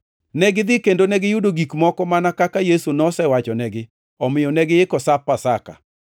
Negidhi kendo negiyudo gik moko mana kaka Yesu nosewachonegi. Omiyo negiiko Sap Pasaka.